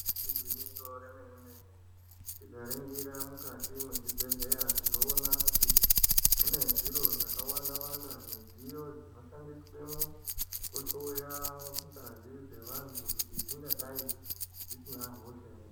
Igwinyiso remene mene tikaringira mukati mwezvibhedhlera tinoona kuti mune zviro zvakawanda wanda midziyo dzinoshandiswemwo kuhloya ngazi dzevantu kuti dzingadai dzisine hosha ere.